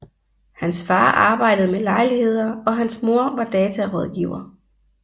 Hans far arbejdede med lejligheder og hans mor var datarådgiver